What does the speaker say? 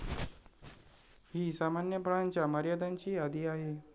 ही सामान्य फळांच्या मर्यादांची यादी आहे.